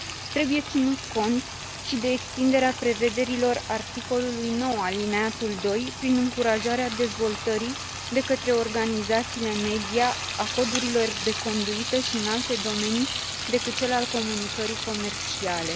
Trebuie ținut cont și de extinderea prevederilor articolului 9 alineatul prin încurajarea dezvoltării de către organizațiile media a codurilor de conduită și în alte domenii decât cel al comunicării comerciale.